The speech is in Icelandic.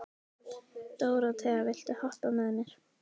Dóróthea, viltu hoppa með mér?